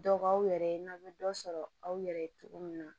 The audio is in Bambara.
Dɔ b'aw yɛrɛ ye n'aw bɛ dɔ sɔrɔ aw yɛrɛ ye cogo min na